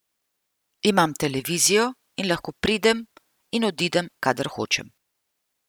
Imam televizijo in lahko pridem in odidem, kadar hočem.